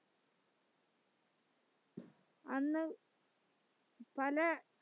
അന്ന് പല